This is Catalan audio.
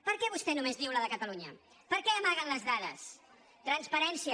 per què vostè només diu la de catalunya per què amaguen les dades transparència